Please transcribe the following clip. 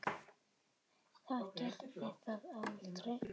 Það gerði það aldrei.